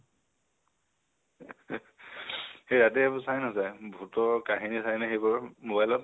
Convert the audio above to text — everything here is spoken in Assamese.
সেই ৰাতি এইবোৰ চাই নাচাই? ভুতৰ কাহিনী চাই নে সেইবোৰ mobile ত?